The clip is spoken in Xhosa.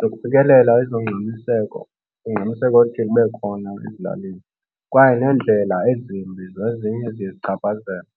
zokufikelela ezongxamiseko, ungxamiseko oluthi lube khona ezilalini. Kwaye neendlela ezimbi zezinye eziye zichaphazele.